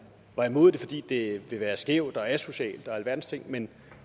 var imod det fordi det ville være skævt og asocialt og alverdens ting men